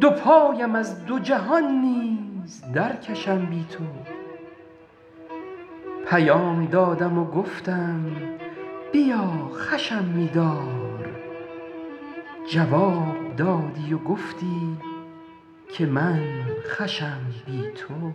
دو پایم از دو جهان نیز درکشم بی تو پیام دادم و گفتم بیا خوشم می دار جواب دادی و گفتی که من خوشم بی تو